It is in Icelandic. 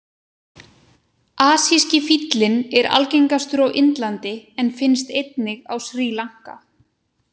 Asíski fíllinn er algengastur á Indlandi en finnst einnig á Sri Lanka.